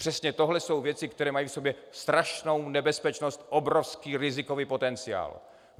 Přesně tohle jsou věci, které mají v sobě strašnou nebezpečnost, obrovský rizikový potenciál!